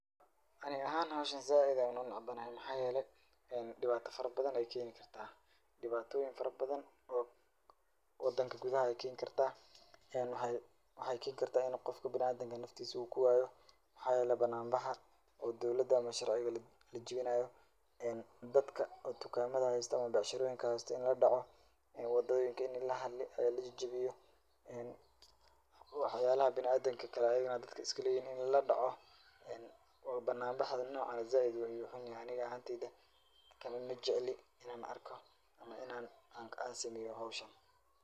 Ani ahaan howshan zaaid ayaan u necbanahay. Maxaa yeelay dhibaato farabadan ayaan keeni kartaa. Dhibaatooyin farabadan oo wadanka gudaha ay keeni kartaa. Waxay keeni kartaa in qofka bin'aadinka naftiisa uu ku waayo. Maxaa yeelay, banaanbaxa oo dowlada ama sharciga la jibinaayo, dadka oo dukaamada haysta ama becsherooyinka haysta in la dhaco, wadooyinka in la ha, la jijibiyo, waxyaalaha bina'aadinka kale ayigana dadka iska leyihiin in la dhaco. banaanbaxda nocaan eh zaaid ayuu u hun yahay. Aniga ahaantayda kani ma jacli inan arko ama inan aan sameeyo howshan.